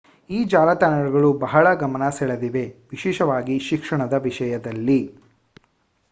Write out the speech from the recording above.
ಈ ಜಾಲತಾಣಗಳು ಬಹಳ ಗಮನ ಸೆಳೆದಿವೆ ವಿಶೇಷವಾಗಿ ಶಿಕ್ಷಣದ ವಿಷಯದಲ್ಲಿ